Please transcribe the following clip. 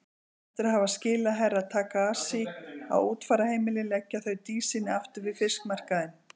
Eftir að hafa skilað Herra Takashi á útfararheimilið leggja þau Dísinni aftur við fiskmarkaðinn.